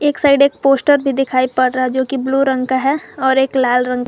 एक साइड एक पोस्टर भी दिखाई पड़ रहा है जो कि ब्लू रंग का है और एक लाल रंग--